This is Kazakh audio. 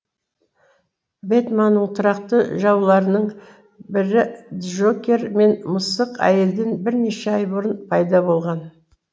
бэтменнің тұрақты жауларының бірі джокер мен мысық әйелден бірнеше ай бұрын пайда болған